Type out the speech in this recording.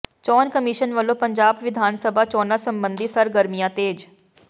ਚੋਣ ਕਮਿਸ਼ਨ ਵੱਲੋਂ ਪੰਜਾਬ ਵਿਧਾਨ ਸਭਾ ਚੋਣਾਂ ਸਬੰਧੀ ਸਰਗਰਮੀਆਂ ਤੇਜ਼